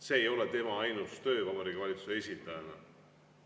See ei ole tema ainus töö Vabariigi Valitsuse esindajana.